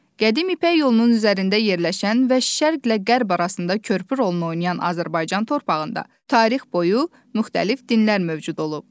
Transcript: Qədim ipək yolunun üzərində yerləşən və şərqlə qərb arasında körpü rolunu oynayan Azərbaycan torpağında tarix boyu müxtəlif dinlər mövcud olub.